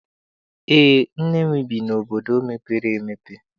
Eé, nne m bi n'obodo mepere emepe.